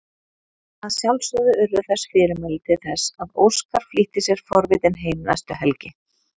Að sjálfsögðu urðu þess fyrirmæli til þess að Óskar flýtti sér forvitinn heim næstu helgi.